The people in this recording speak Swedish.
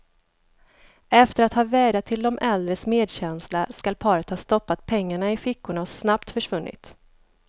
Efter att ha vädjat till de äldres medkänsla skall paret ha stoppat pengarna i fickorna och snabbt försvunnit.